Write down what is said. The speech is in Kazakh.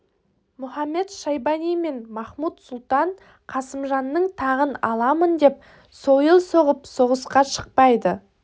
мұхамед-шайбани мен махмуд-сұлтан қасымжанның тағын аламын деп сойыл соғып соғысқа шықпайды